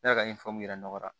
Ne yɛrɛ ka ɲɛfɔli yira nɔgɔra